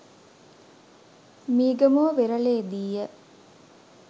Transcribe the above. Meegamuwa වෙරළේදීය